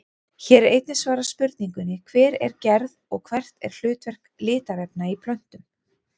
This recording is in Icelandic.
Hér er einnig svarað spurningunni Hver er gerð og hvert er hlutverk litarefna í plöntum?